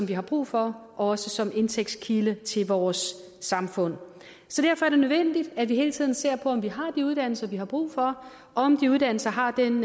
vi har brug for også som en indtægtskilde for vores samfund så derfor er det nødvendigt at vi hele tiden ser på om vi har de uddannelser vi har brug for og om de uddannelser har den